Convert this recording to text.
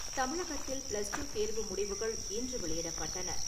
தமிழகத்தில் ப்ளஸ்-டூ தேர்வு முடிவுகள் இன்று வெளியிடப்பட்டன.